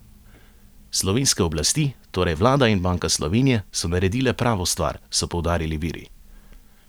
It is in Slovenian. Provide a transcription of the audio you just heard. Slovenske oblasti, torej vlada in Banka Slovenije, so naredile pravo stvar, so poudarili viri.